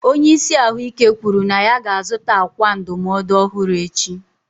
Onye isi ahụike kwuru na ya ga-azụta ákwà ndụmọdụ ọhụrụ echi.